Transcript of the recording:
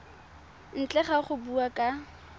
ntle ga go bua ka